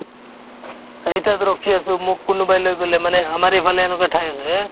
এই তাত ৰখি আছো মোক কোনোবাই লৈ গ'লে মানে আমাৰ এইফালে এনেকুৱা ঠাই আছে